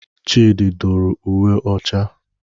Chidị dụrụ uwe ọcha.